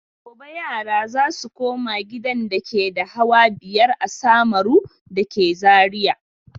Gobe yara za su koma gidan dake da hawa biyar a Samaru da ke Zariya.